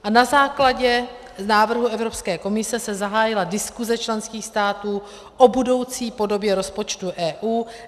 A na základě návrhu Evropské komise se zahájila diskuse členských států o budoucí podobě rozpočtu EU.